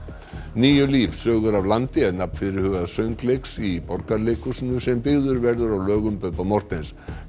níu líf sögur af landi er nafn fyrirhugaðs í Borgarleikhúsinu sem byggður verður á lögum Bubba Morthens